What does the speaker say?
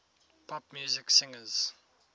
pop music singers